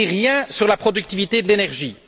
On ne dit rien sur la productivité de l'énergie.